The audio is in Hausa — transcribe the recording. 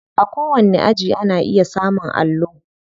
A kowanni aji ana iya samun allo.